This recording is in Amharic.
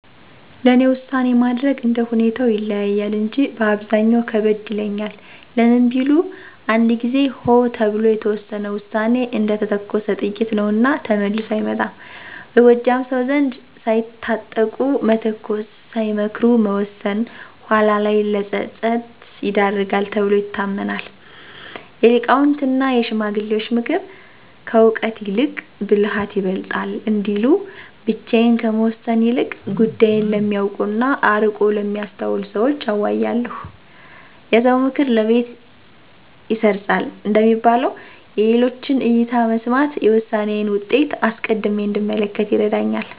ለእኔ ውሳኔ ማድረግ እንደ ሁኔታው ይለያያል እንጂ በአብዛኛው ከበድ ይለኛል። ለምን ቢሉ፣ አንድ ጊዜ "ሆ" ተብሎ የተወሰነ ውሳኔ እንደተተኮሰ ጥይት ነውና ተመልሶ አይመጣም። በጎጃም ሰው ዘንድ "ሳይታጠቁ መተኮስ፣ ሳይመክሩ መወሰን" ኋላ ላይ ለፀጸት ይዳርጋል ተብሎ ይታመናል። የሊቃውንትና የሽማግሌዎች ምክር፦ "ከእውቀት ይልቅ ብልሃት ይበልጣል" እንዲሉ፣ ብቻዬን ከመወሰን ይልቅ ጉዳዩን ለሚያውቁና አርቆ ለሚያስተውሉ ሰዎች አዋያለሁ። "የሰው ምክር ለቤት ይሰርፃል" እንደሚባለው፣ የሌሎችን እይታ መስማት የውሳኔዬን ውጤት አስቀድሜ እንድመለከት ይረዳኛል።